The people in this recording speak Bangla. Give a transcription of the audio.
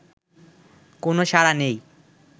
কোন সাড়া নেই